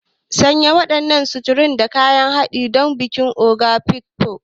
Sanya wannan suturar da kayan haɗi don bikin Ogo Afikpo.